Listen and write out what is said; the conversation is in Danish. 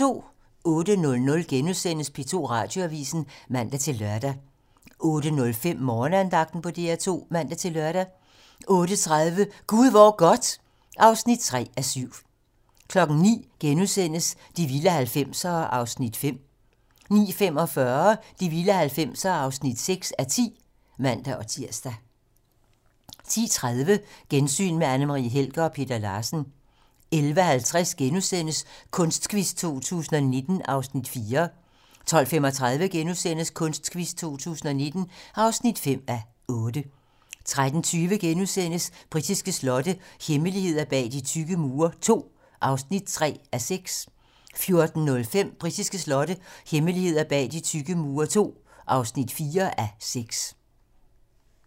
08:00: P2 Radioavisen *(man-lør) 08:05: Morgenandagten på DR2 (man-lør) 08:30: Gud hvor godt (3:7) 09:00: De vilde 90'ere (5:10)* 09:45: De vilde 90'ere (6:10)(man-tir) 10:30: Gensyn med Anne Marie Helger og Peter Larsen 11:50: Kunstquiz 2019 (4:8)* 12:35: Kunstquiz 2019 (5:8)* 13:20: Britiske slotte - hemmeligheder bag de tykke mure II (3:6)* 14:05: Britiske slotte - hemmeligheder bag de tykke mure II (4:6)